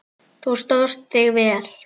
Þú stóðst þig vel.